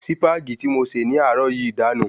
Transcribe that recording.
Sípàgì tí mo ṣe ní àárò yìí dànù